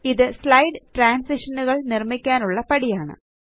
ഇത് സ്ലൈഡ് ട്രാന്സിഷനുകള് നിര്മ്മിക്കാനുള്ള പടിയാണ്